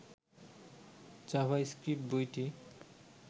JavaScript বইটি